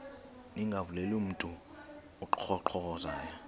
ningavuleli mntu unkqonkqozayo